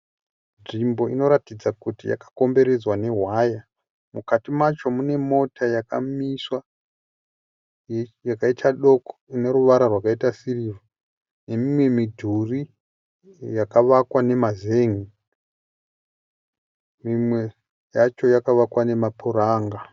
Nzvimbo inoratidza kuti yakakomberedzwa newaya mukati macho mune Mota yakamiswa yakaita doko ineruvara rwakaita sirivha ne imwe midhuri yakawakwa nezen'i imwe yacho yakawakwa emapuranga